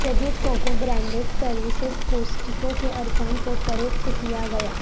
جدید coco branded services Costco کے ارکان کو فروخت کیا گیا